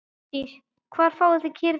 Hjördís: Hvar fáið þið kýrnar?